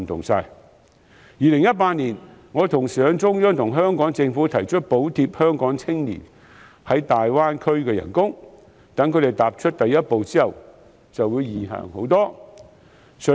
我在2018年同時向中央和香港政府提出補貼香港青年在大灣區的工資，待他們踏出第一步之後，前路便會易行得多。